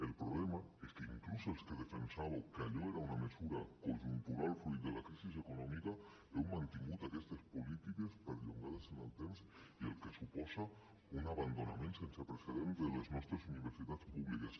el problema és que inclús els que defensàveu que allò era una mesura conjuntural fruit de la crisi econòmica heu mantingut aquestes polítiques perllongades en el temps la qual cosa suposa un abandonament sense precedents de les nostres universitats públiques